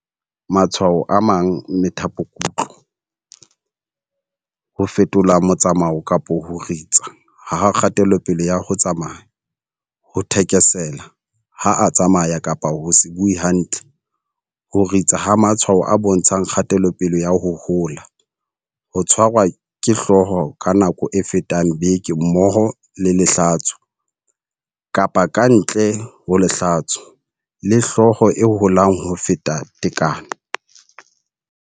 Matshwao a amang methapokutlo, ho fetola motsamao kapa ho ritsa ha kgatelopele ya ho tsamaya, ho thekesela ha a tsamaya kapa ho se bue hantle, ho ritsa ha matshwao a bontshang kgatelopele ya ho hola, ho tshwarwa ke hlooho ka nako e fetang beke mmoho le lehlatso kapa ka ntle ho lehlatso, le hlooho e holang ho feta tekano.